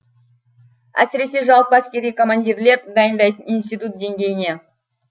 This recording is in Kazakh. әсіресе жалпы әскери командирлер дайындайтын институт деңгейіне